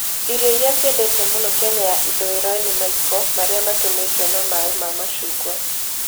Irio iria ciendetwo mũno Kenya ya Ithũĩro nĩ maiko marĩa matumĩtwo na maĩ ma macungwa.